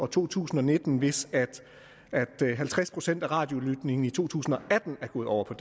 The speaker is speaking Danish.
to tusind og nitten hvis halvtreds procent af radiolytningen i to tusind og atten er gået over på